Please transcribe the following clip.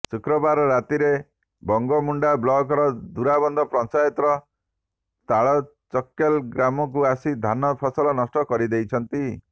ଶୁକ୍ରବାର ରାତିରେ ବଙ୍ଗୋମୁଣ୍ଡା ବ୍ଲକର ଜୁରାବନ୍ଧ ପଞ୍ଚାୟତର ତାଲଚକେଲ ଗ୍ରାମକୁ ଆସି ଧାନ ଫସଲ ନଷ୍ଟ କରିଦେଇଛନ୍ତି